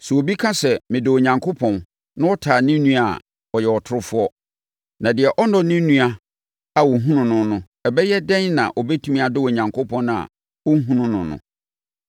Sɛ obi ka sɛ, “Medɔ Onyankopɔn” na ɔtane ne nua a, ɔyɛ ɔtorofoɔ. Na deɛ ɔnnɔ ne nua a ɔhunu no no, ɛbɛyɛ dɛn na ɔbɛtumi adɔ Onyankopɔn a ɔnhunu no.